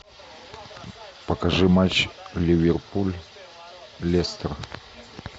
покажи матч ливерпуль лестер